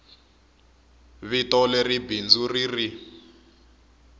vito leri bindzu ri ri